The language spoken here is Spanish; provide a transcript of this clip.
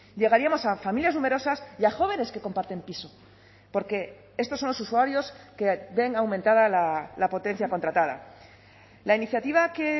llegaríamos a familias numerosas y a jóvenes que comparten piso porque estos son los usuarios que ven aumentada la potencia contratada la iniciativa que